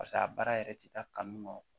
Pase a baara yɛrɛ ti taa kanu kɔ